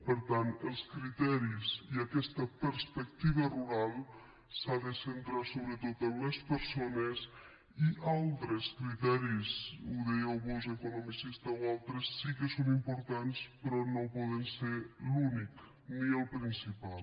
per tant els criteris i aquesta perspectiva rural s’han de centrar sobretot en les persones i altres criteris ho dèieu vós l’economicista o altres sí que són importants però no poden ser l’únic ni el principal